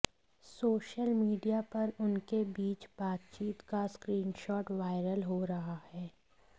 social media पर उनके बीच बातचीत का स्क्रीनशॉट वायरल हो रहा है